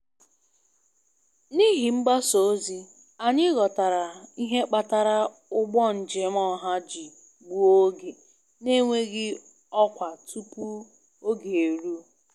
Anyị ejighị n'aka ihe kpatara mkpọtụ ahụ ruo mgbe mgbasa ozi nyere nkọwa kwesịrị ekwesị.